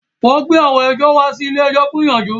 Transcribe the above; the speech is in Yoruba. Wọ́n gbé àwọn ẹjọ́ wá sí ilé-ẹjọ̀ fún ìyanjú